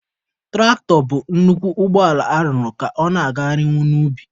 Tụraktọ bụ nnukwu ụgbọ ala arụrụ ka ọ na-agagharịnwu n'ubi.